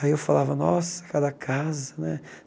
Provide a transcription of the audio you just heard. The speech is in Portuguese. Aí eu falava, nossa, cada casa, né?